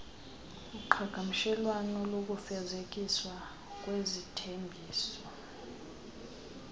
uqhagamshelwano lokufezekiswa kwezithembiso